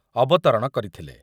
ଅବତରଣ କରିଥିଲେ।